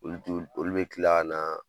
Olu t'u olu bɛ kila ka na